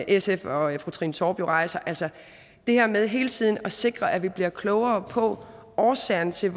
sf og fru trine torp rejser altså det her med hele tiden at sikre at vi bliver klogere på årsagerne til at